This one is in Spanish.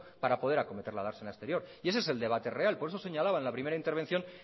para poder acometer la dársena exterior y ese es el debate real por eso señalaba en la primera intervención